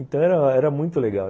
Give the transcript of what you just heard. Então era era muito legal.